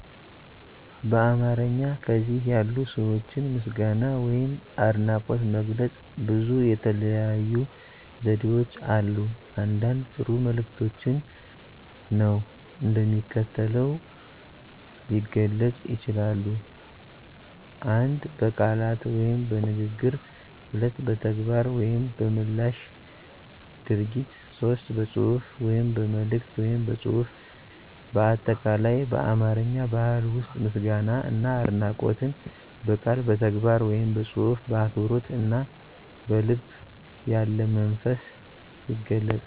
በአማርኛ ከዚህ ያሉ ሰዋችን ምስጋና ወይም አድናቆት መግለጽ ብዙ የተለያዩ ዘዴዎች አሉ አንዳንድ ጥሩ መልክቶች ነዉን እንደሚከተለው የገለጽ ይችላሉ። 1 በቃላት (በንግግር ) 2 በተግባር (በምላሽ ድርጊት ) 3 በጽሑፍ (በመልእከት ወይም በፅሁፍ ) በአጠቃላይ፦ በአማርኛ ባህል ዉስጥ ምስጋና እና አድናቆትን በቃል በተግባረ ወይም በጽሑፍ በአክብሮት አና በልብ ያለመንፈስ ይገለጻል።